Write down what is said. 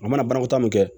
A mana banakɔtaa mun kɛ